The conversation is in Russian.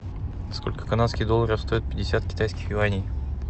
сколько канадских долларов стоит пятьдесят китайских юаней